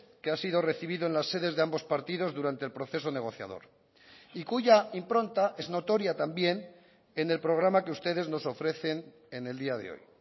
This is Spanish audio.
que ha sido recibido en las sedes de ambos partidos durante el proceso negociador y cuya impronta es notoria también en el programa que ustedes nos ofrecen en el día de hoy